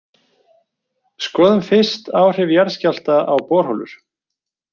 Skoðum fyrst áhrif jarðskjálfta á borholur.